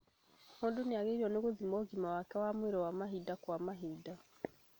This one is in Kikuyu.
O mũndũ nĩagĩrĩirwo nĩ gũthima ũgima wake wa mwĩrĩ wa mahinda kwa mahinda